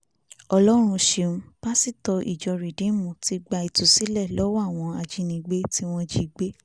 ọlọ́run ṣeun pásítọ̀ ìjọ rìdíìmù ti gba ìtúsílẹ̀ lọ́wọ́ àwọn ajínigbé tí wọ́n jí gbé